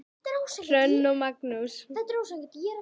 Hrönn og Magnús.